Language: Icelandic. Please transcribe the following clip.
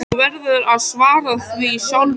Þú verður að svara því sjálfur.